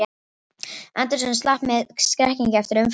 Anderson slapp með skrekkinn eftir umferðarslys